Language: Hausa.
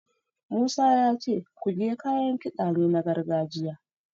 Musa ya ce Kuge kayan kiɗa ne na gargajiya.